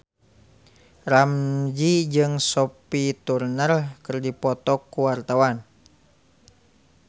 Ramzy jeung Sophie Turner keur dipoto ku wartawan